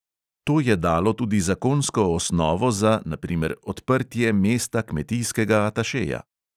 To je dalo tudi zakonsko osnovo za, na primer, odprtje mesta kmetijskega atašeja.